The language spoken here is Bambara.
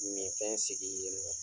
Min fɛn sigi i yɛrɛ yɛ